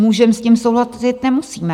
Můžeme s tím souhlasit, nemusíme.